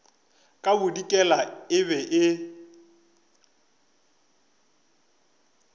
ka bodikela e be e